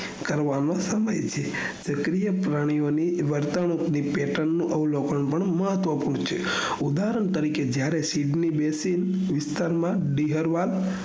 કરવાનો સમય છે સક્રિય પ્રાણીઓ ની વર્તણુક ની pattern નું અવલોકન પણ મહત્વપૂણ છે ઉદારણ તરીકે જયારે સીબ ની બે સીબ વિસ્તાર માં દીજલ્વાલ